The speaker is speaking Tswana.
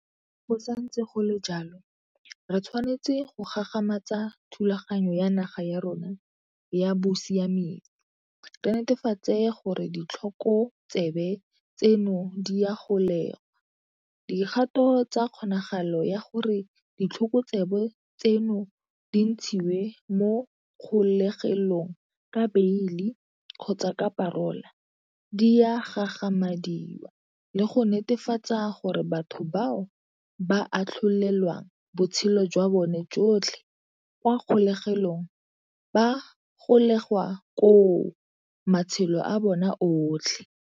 Go santse go le jalo, re tshwanetse go gagamatsa thulaganyo ya naga ya rona ya bosiamisi, re netefatse gore ditlhokotsebe tseno di a golegwa, dikgato tsa kgonagalo ya gore ditlhokotsebe tseno di ntshiwe mo kgolegelong ka beili kgotsa ka parola di a gagamadiwa le go netefatsa gore batho bao ba atlholelwang botshelo jwa bone jotlhe kwa kgolegelong ba golegwa koo matshelo a bona otlhe.